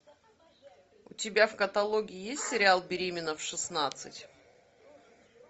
у тебя в каталоге есть сериал беременна в шестнадцать